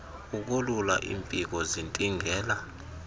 ukolula iimpiko zintingela